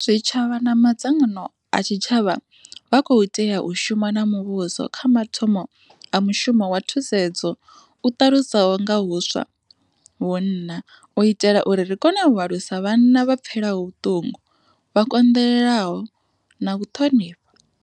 Zwitshavha na madzangano a tshitshavha vha khou tea u shuma na muvhuso kha mathomo a mushumo wa thu sedzo u ṱalusaho nga huswa vhunna u itela uri ri kone u alusa vhanna vha pfelaho vhuṱungu, vha konḓelelaho na u ṱhonifha.